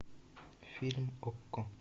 фильм окко